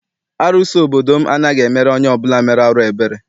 Arụsị obodo m anaghị emere onye ọbụla mere arụ ebere.